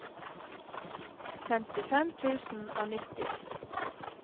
femtifem tusen og nitti